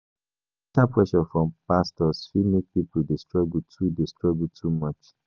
Financial pressure from pastors fit make pipo dey struggle too much.